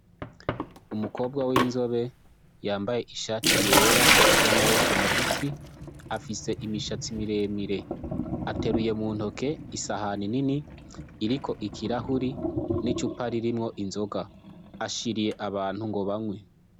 Umukobwa w'inzobe yambaye ishati yera y'amaboko magufi afise imishatsi miremire, ateruye mu ntoke isahani nini iriko ikirahuri n'icupa ririmwo inzoga, ashiriye abantu ngo banywe.